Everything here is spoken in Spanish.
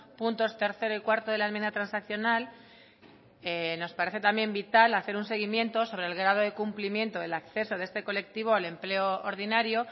puntos tercero y cuarto de la enmienda transaccional nos parece también vital hacer un seguimiento sobre el grado de cumplimiento del acceso de este colectivo al empleo ordinario